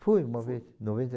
Fui uma vez, em noventa e